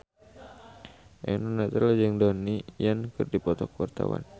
Eno Netral jeung Donnie Yan keur dipoto ku wartawan